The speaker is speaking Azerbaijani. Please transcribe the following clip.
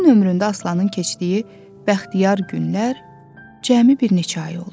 Bütün ömründə Aslanın keçdiyi bəxtiyar günlər cəmi bir neçə ay oldu.